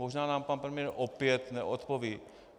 Možná nám pan premiér opět neodpoví.